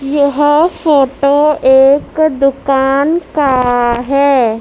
यह फोटो एक दुकान का है।